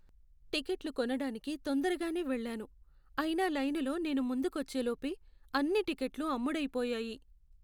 టిక్కెట్లు కొనడానికి తొందరగానే వెళ్ళాను, అయినా లైనులో నేను ముందుకొచ్చేలోపే అన్ని టిక్కెట్లు అమ్ముడైపోయాయి.